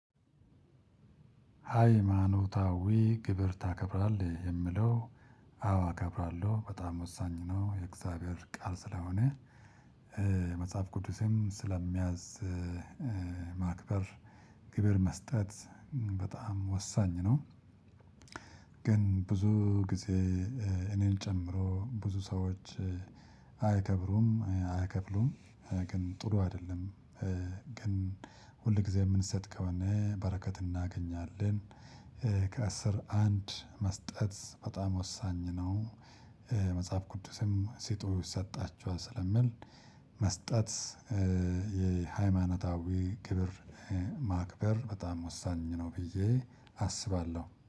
ሃይማኖታዊ ግብር ታከብራለህ የሚለው አዎ አከብራለሁ በጣም ወሳኝ ነው የእግዚአብሔር ቃል ስለሆነ መጽሐፍ ቅዱሴም ስለሚያዝ ማክበር ግብር መስጠት በጣም ወሳኝ ነው። ግን ብዙ ጊዜ እኔን ጨምሮ ብዙ ሰዎች አያከብሩም አይከፍሉም። ግን ጥሩ አይደለም። ግን ሁል ጊዜ የምንሰጥ ከሆነ በረከት እናገኛለን። ከአስር አንድ መስጠት በጣም ወሳኝ ነው። መጽሐፍ ቅዱስም ስጡ ይሰጣችኋል ስለሚል። መስጠት የሃይማኖታዊ ክብር ማክበር በጣም ወሳኝ ነው ብዬ አስባለሁ